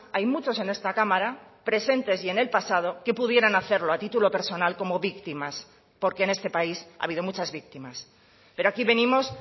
hay muchos en esta cámara presentes y en el pasado que pudieran hacerlo a título personal como víctimas porque en este país ha habido muchas víctimas pero aquí venimos